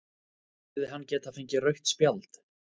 Hefði hann geta fengið rautt spjald?